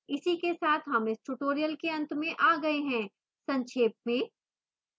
इसी के साथ हम इस tutorial के अंत में आ गए हैं संक्षेप में